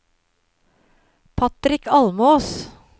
Patrick Almås